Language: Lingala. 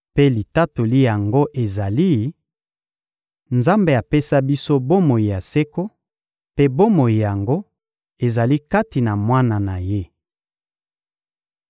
Mpe litatoli yango ezali: Nzambe apesa biso bomoi ya seko, mpe bomoi yango ezali kati na Mwana na Ye.